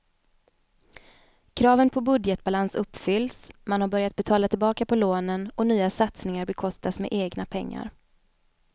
Kraven på budgetbalans uppfylls, man har börjat betala tillbaka på lånen och nya satsningar bekostas med egna pengar.